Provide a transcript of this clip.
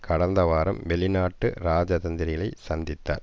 கடந்த வாரம் வெளிநாட்டு இராஜதந்திரிகளைச் சந்தித்தார்